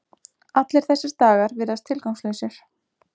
Allir þessar dagar virðast tilgangslausir.